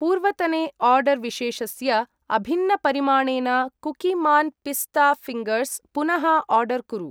पूर्वतने आर्डर् विशेषस्य अभिन्नपरिमाणेन कुकीमान् पिस्ता फिङ्गर्स् पुनः आर्डर् कुरु।